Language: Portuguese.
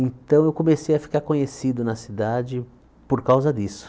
Então eu comecei a ficar conhecido na cidade por causa disso.